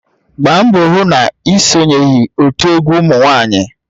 Gbaa mbọ hụ na ị sonyeghị otu egwu ụmụ nwanyị!